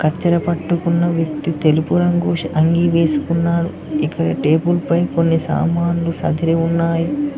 కత్తెర పట్టుకున్న వ్యక్తి తెలుపు రంగు అంగీ వేసుకున్నాడు ఇక్కడ టేబుల్ పై కొన్ని సామాన్లు సద్ది ఉన్నాయి.